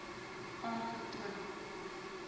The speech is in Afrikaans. aangetoon